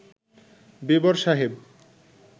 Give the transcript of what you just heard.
বেবর সাহেব